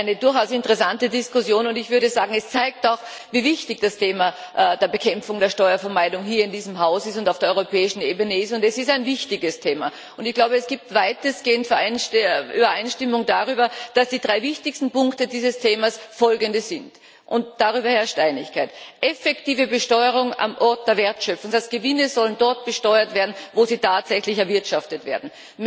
Also eine durchaus interessante Diskussion, und ich würde sagen, das zeigt, wie wichtig das Thema der Bekämpfung der Steuervermeidung hier in diesem Haus und auf der europäischen Ebene ist. Es ist ein wichtiges Thema, und ich glaube, es gibt weitestgehend Übereinstimmung darüber, dass die drei wichtigsten Punkte dieses Themas folgende sind, darüber herrscht Einigkeit Effektive Besteuerung am Ort der Wertschöpfung, das heißt, Gewinne sollen dort besteuert werden, wo sie tatsächlich erwirtschaftet werden.